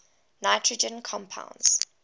nitrogen compounds